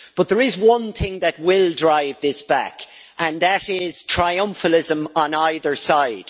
But there is one thing that will drive this back, and that is triumphalism on either side.